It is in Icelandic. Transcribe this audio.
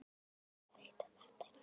Ég veit að þetta er rétt.